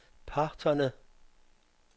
parterne